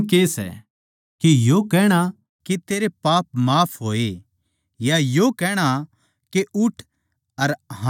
आसान के सै के यो कहणा के तेरे पाप माफ होए या यो कहणा के उठ अर हाँडफिर